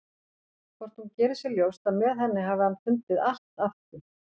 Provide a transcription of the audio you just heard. Hvort hún geri sér ljóst að með henni hafi hann fundið allt aftur?